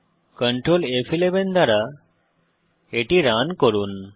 control ফ11 দ্বারা এটি রান করুন